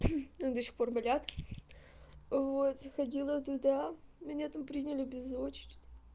до сих пор болят вот заходила туда меня там приняли без очереди